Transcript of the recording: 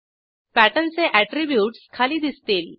pattern चे attributes खाली दिसतील